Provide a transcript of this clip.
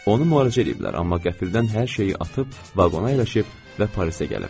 Onu müalicə eləyiblər, amma qəfildən hər şeyi atıb, vaqona əyləşib və Parisə gəlib.